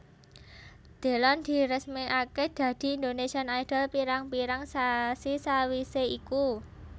Delon diresmékaké dadi Indonesian Idol pirang pirang sasi sawisé iku